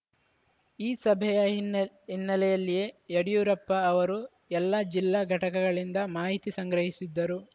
ಈ ಸಭೆಯ ಹಿನ್ನೆಲೆ ಹಿನ್ನೆಲೆಯಲ್ಲೇ ಯಡಿಯೂರಪ್ಪ ಅವರು ಎಲ್ಲಾ ಜಿಲ್ಲಾ ಘಟಕಗಳಿಂದ ಮಾಹಿತಿ ಸಂಗ್ರಹಿಸಿದ್ದರು